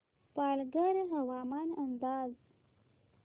पालघर हवामान अंदाज